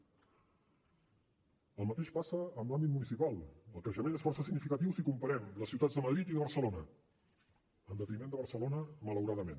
el mateix passa en l’àmbit municipal el creixement és força significatiu si comparem les ciutats de madrid i de barcelona en detriment de barcelona malauradament